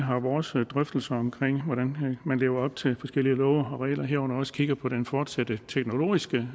vores drøftelser om hvordan man lever op til forskellige love og regler herunder også kigger på den fortsatte teknologiske